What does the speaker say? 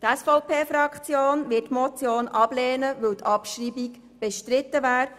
Die SVP-Fraktion wird die Motion ablehnen, weil die Abschreibung bestritten ist.